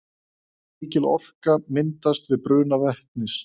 mikil orka myndast við bruna vetnis